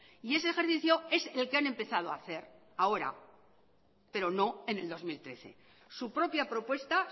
y ese ejercicio es el que han empezado a hacer ahora pero no en el dos mil trece su propia propuesta